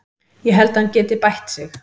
Ég held að hann geti bætt sig.